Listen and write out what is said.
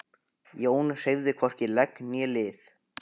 Jón hreyfði hvorki legg né lið.